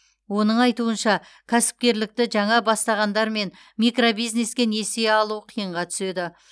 оның айтуынша кәсіпкерлікті жаңа бастағандар мен микробизнеске несие алу қиынға түседі